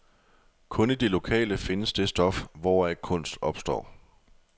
Kun i det lokale findes det stof, hvoraf kunst opstår.